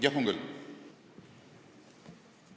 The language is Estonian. Jah, missioonile mineku ajal on.